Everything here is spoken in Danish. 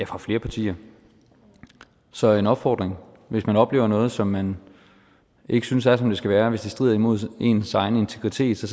fra flere partier så min opfordring er hvis man oplever noget som man ikke synes er som det skal være hvis det strider imod ens egen integritet så